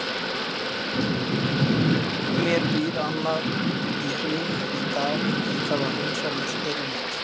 Mér býr annað í hug í dag, ég þarf að hreinsa musteri mitt.